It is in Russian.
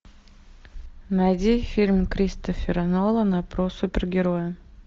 найди фильм кристофера нолана про супергероя